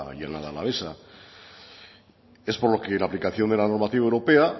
llanada alavesa es por lo que la aplicación de la normativa europea